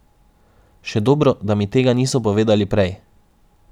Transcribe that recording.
Še dobro, da mi tega niso povedali prej.